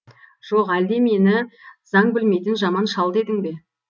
жоқ әлде мені заң білмейтін жаман шал дедің бе